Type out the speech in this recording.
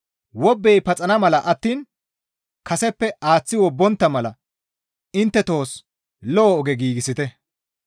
Wobbey paxana mala attiin kaseppe aaththi wobbontta mala intte tohos lo7o oge giigsite.